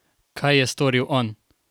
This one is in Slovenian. Kaj je storil on?